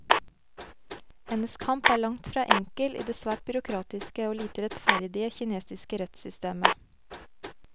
Hennes kamp er langt fra enkel i det svært byråkratiske og lite rettferdige kinesiske rettssystemet.